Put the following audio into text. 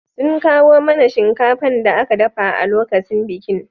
Sun kawo mana shinkafan da aka dafa a lokacin bikin